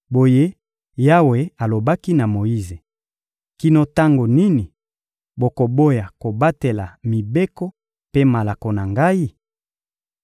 Boye Yawe alobaki na Moyize: — Kino tango nini bokoboya kobatela mibeko mpe malako na Ngai?